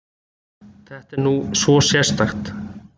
Þetta er nú svo sérstakt!